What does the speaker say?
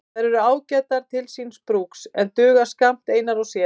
Þær eru ágætar til síns brúks en duga skammt einar og sér.